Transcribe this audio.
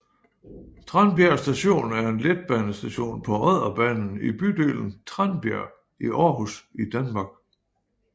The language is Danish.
Tranbjerg Station er en letbanestation på Odderbanen i bydelen Tranbjerg i Aarhus i Danmark